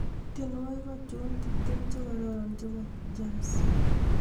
tienywogik achon tiptem chegororonchebo jazz